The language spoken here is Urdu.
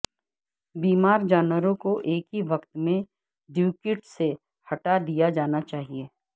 بیمار جانوروں کو ایک ہی وقت میں ڈیوکیٹ سے ہٹا دیا جانا چاہئے